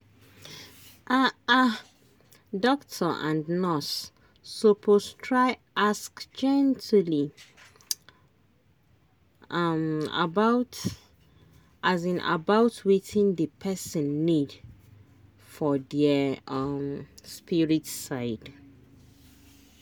ah ah doctor and nurse suppose try ask gently um about um about wetin the person need for their um spirit side.